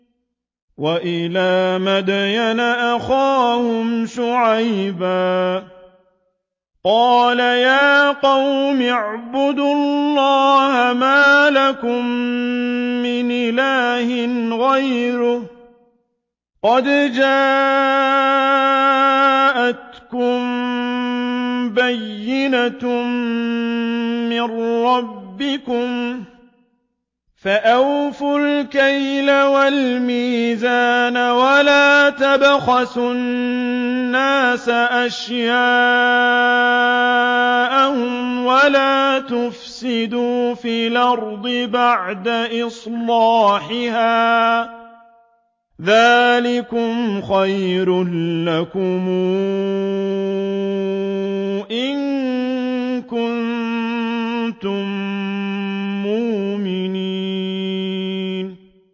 وَإِلَىٰ مَدْيَنَ أَخَاهُمْ شُعَيْبًا ۗ قَالَ يَا قَوْمِ اعْبُدُوا اللَّهَ مَا لَكُم مِّنْ إِلَٰهٍ غَيْرُهُ ۖ قَدْ جَاءَتْكُم بَيِّنَةٌ مِّن رَّبِّكُمْ ۖ فَأَوْفُوا الْكَيْلَ وَالْمِيزَانَ وَلَا تَبْخَسُوا النَّاسَ أَشْيَاءَهُمْ وَلَا تُفْسِدُوا فِي الْأَرْضِ بَعْدَ إِصْلَاحِهَا ۚ ذَٰلِكُمْ خَيْرٌ لَّكُمْ إِن كُنتُم مُّؤْمِنِينَ